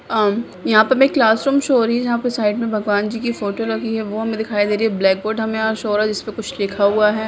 अम यहाँ पे हमे क्लास रूम शो हो रही है जहां पे साइड मे भगवान जी की फोटो लगी है वो हमे दिखाई दे रही है ब्लैक बोर्ड हमे यहाँ शो हो रहा है जिसपे कुछ लिखा हुआ है।